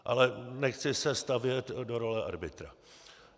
Ale nechci se stavět do role arbitra.